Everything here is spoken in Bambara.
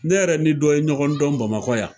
Ne yɛrɛ ni dɔ ye ɲɔgɔn dɔn bamakɔ yan.